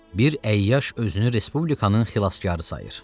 Bir əyyaş özünü respublikanın xilaskarı sayır.